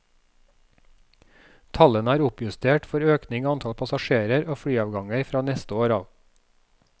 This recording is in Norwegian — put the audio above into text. Tallene er oppjustert for økning i antall passasjerer og flyavganger fra neste år av.